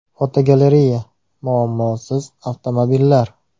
Fotogalereya: Muammosiz avtomobillar.